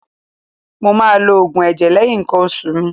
Mo máa lo Ògùn ẹ̀jẹ̀ lẹ́yìn ǹkan oṣù mi.